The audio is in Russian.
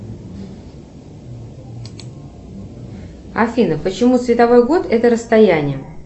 афина почему световой год это расстояние